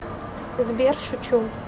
сбер шучу